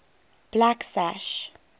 blacksash